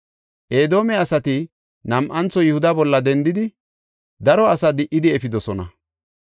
Edoome asati nam7antho Yihuda bolla dendidi, daro asaa di77idi efidosona.